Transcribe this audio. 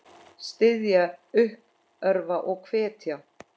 Styðja, uppörva og hvetja.